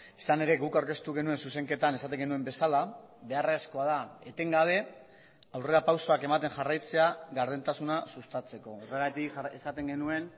izan ere guk aurkeztu genuen zuzenketan esaten genuen bezala beharrezkoa da etengabe aurrerapausoak ematen jarraitzea gardentasuna sustatzeko horregatik esaten genuen